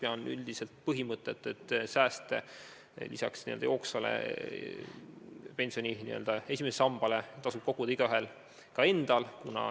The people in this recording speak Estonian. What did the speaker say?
Ma toetan üldiselt põhimõtet, et sääste lisaks pensioni esimesele sambale tasub koguda ka igaühel endal.